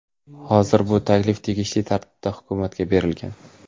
Hozir bu taklif tegishli tartibda hukumatga berilgan.